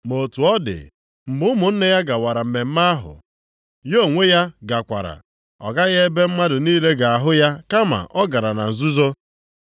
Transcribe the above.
Ma otu ọ dị, mgbe ụmụnne ya gawara mmemme ahụ ya onwe ya gakwara. Ọ gaghị ebe mmadụ niile ga-ahụ ya kama ọ gara na nzuzo.